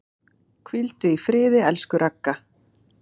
Hvíldu í friði, elsku Ragga.